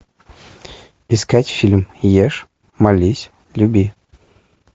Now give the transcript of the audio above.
искать фильм ешь молись люби